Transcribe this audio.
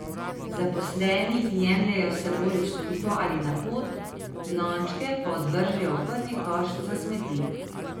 Zaposleni jih jemljejo s seboj v službo ali na pot, lončke pa odvržejo v prvi koš za smeti.